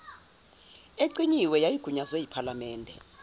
ecinyiwe yayigunyazwe yiphalamende